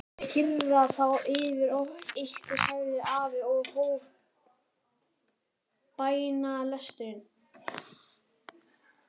Ég kyrja þá yfir ykkur, sagði afi og hóf bænalesturinn.